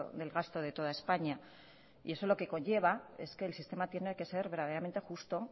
del gasto de toda españa y eso lo que conlleva es que el sistema tiene que ser verdaderamente justo